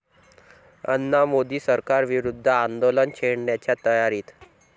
अण्णा मोदी सरकारविरुद्ध आंदोलन छेडण्याच्या तयारीत